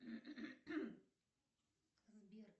сбер